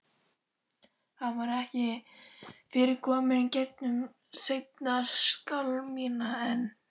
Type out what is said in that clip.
Hann var ekki fyrr kominn í gegnum seinni skálmina en